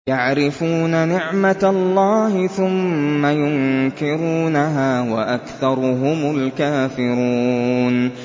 يَعْرِفُونَ نِعْمَتَ اللَّهِ ثُمَّ يُنكِرُونَهَا وَأَكْثَرُهُمُ الْكَافِرُونَ